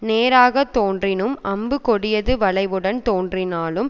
நேராகத் தோன்றினும் அம்பு கொடியது வளைவுடன் தோன்றினாலும்